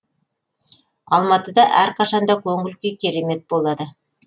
алматыда әрқашан да көңіл күй керемет болады